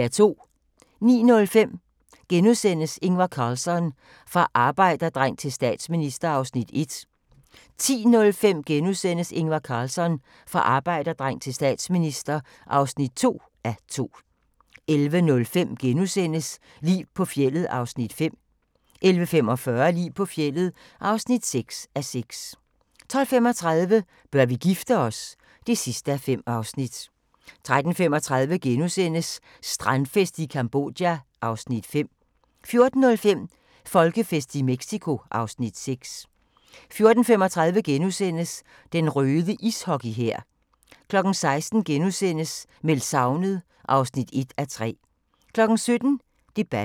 09:05: Ingvar Carlsson - fra arbejderdreng til statsminister (1:2)* 10:05: Ingvar Carlsson - fra arbejderdreng til statsminister (2:2)* 11:05: Liv på fjeldet (5:6)* 11:45: Liv på fjeldet (6:6) 12:35: Bør vi gifte os? (5:5) 13:35: Strandfest i Cambodja (Afs. 5)* 14:05: Folkefest i Mexico (Afs. 6) 14:35: Den røde ishockey-hær * 16:00: Meldt savnet (1:3)* 17:00: Debatten *